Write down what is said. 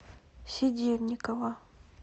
седельникова